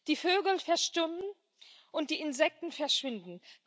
Die Vögel verstummen, und die Insekten verschwinden.